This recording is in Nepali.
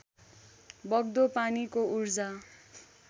बग्दो पानीको ऊर्जा